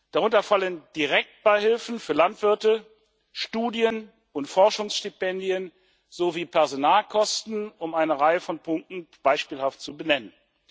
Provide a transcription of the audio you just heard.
Darunter fallen Direktbeihilfen für Landwirte, Studien und Forschungsstipendien sowie Personalkosten, um eine Reihe von Punkten beispielhaft zu benennen.